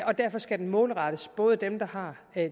og derfor skal den målrettes både dem der har